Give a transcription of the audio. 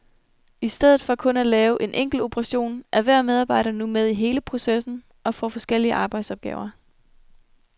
I stedet for kun at lave en enkelt operation er hver medarbejder nu med i hele processen og får forskellige arbejdsopgaver.